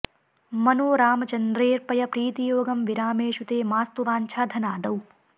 मनो रामचन्द्रेऽर्पय प्रीतियोगं विरामेषु ते मास्तु वाञ्छा धनादौ